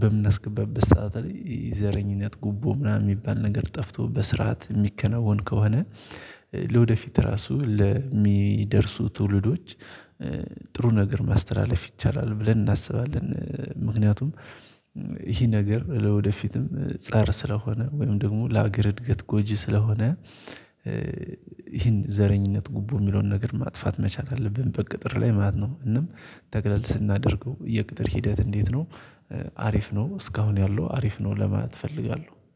በምን አስገባበት ሰዓት ላይ ዘረኝነት ጉቦ ምናምን የሚባል ነገር ጠፍቶ በስርዓት የሚከነውን ከሆነ። ለወደፊት ራሱ ለሚደርሱ ትውልዶች ጥሩ ነገር ማስተላለፍ ይቻላል ብለን እናስባለን። ምክንያቱም ይህ ነገር ለወደፊትም ፀር ስለሆነ ወይም ደግሞ ለአገር እድገት ጎጂ ስለሆነ። ይህን ዘረኝነት ጉቦ የሚለውን ነገር ማጥፋት መቻል አለብን በቅጥር ላይ ማለት ነው። እና ጠቅለል ስናደርገው የቅጥር ሂደት እንዴት ነው? አሪፍ ነው እስካሁን ያሉ አሪፍ ነው ለማለት እፈልጋለሁ